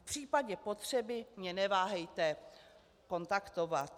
V případě potřeby mě neváhejte kontaktovat."